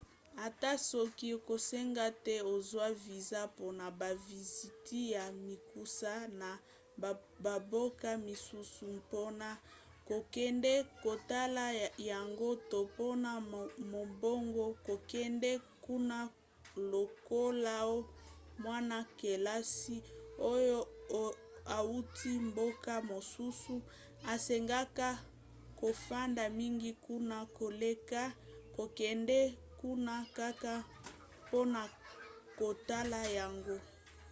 ata soki ekosenga te ozwa viza mpona baviziti ya mikuse na bamboka misusu mpona kokende kotala yango to mpona mombongo kokende kuna lokoloa mwana-kelasi oyo auti mboka mosusu esengaka kofanda mingi kuna koleka kokende kuna kaka mpona kotala yango